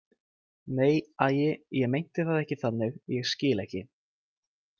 Nei, æi, ég meinti það ekki þannig, ég skil ekki.